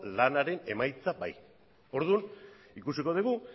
lanaren emaitza bai orduan ikusiko dugu